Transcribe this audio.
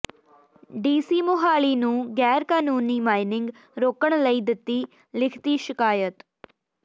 DC Mohali ਨੂੰ ਗੈਰਕਾਨੂੰਨੀ mining ਰੋਕਣ ਲਈ ਦਿੱਤੀ ਲਿਖਤੀ ਸ਼ਿਕਾਇਤ